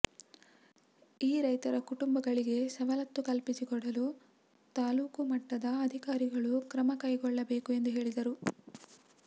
ಈ ರೈತರ ಕುಟುಂಬಗಳಿಗೆ ಸವಲತ್ತು ಕಲ್ಪಿಸಿಕೊಡಲು ತಾಲ್ಲೂಕು ಮಟ್ಟದ ಅಧಿಕಾರಿಗಳು ಕ್ರಮ ಕೈಗೊಳ್ಳಬೇಕು ಎಂದು ಹೇಳಿದರು